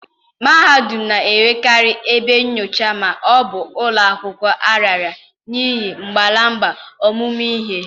mahadum na-enwekarị ebe nyocha ma ọ bụ ụlọ akwụkwọ a raara nye ngalaba ọmụmụ ihe